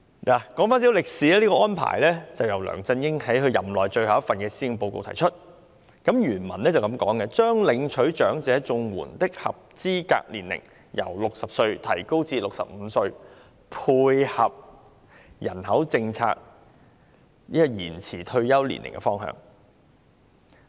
說回一些歷史，這個安排是梁振英在其任內最後一份施政報告中提出的，原文是這樣寫的："將領取長者綜援的合資格年齡由60歲提高至65歲，配合人口政策延遲退休年齡的方向。